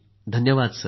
धन्यवाद सर